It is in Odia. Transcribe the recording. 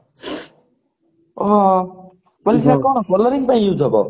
ହଁ ପଇସା କଣ coloring ପାଇଁ use ହେବ